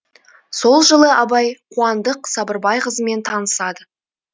сол жылы абай қуандық сабырбай қызымен танысады